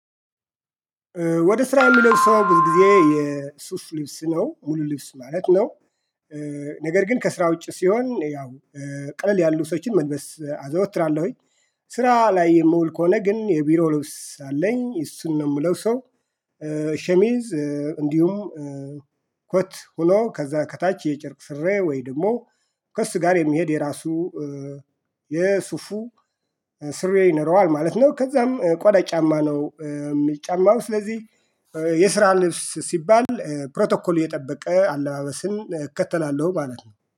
ወደ ስራ የምለብሰው ጊዜ የሱፍ ልብስ ነው ሙሉ ልብስ ማለት ነው። ነገር ግን ከስራ ውጪ ሲሆን ያው ቅለል ያሉ ሰብሶችን መልበስ አዘወትራለሁኝ። ስራ ላይ የምውል ከሆነ ግን የቢሮ ልብስ አለኝ እሱን ነው የምለብሰው። ሸሚዝ እንዲሁም ኮት ሆኖ ከዛ ከታች የጭርቅ ስሬ ወይ ደግሞ ከእሱ ጋር የሚሄድ የራሱ የሱፉ ስሬ ይኖረዋል ማለት ነው። ከዛም ቆዳ ጫማ ነው። የምጫማው ስለዚህ የስራ ልብስ ሲባል ፕሮቶኮል የጠበቀ አለባበስን እከተላለሁ ማለት ነው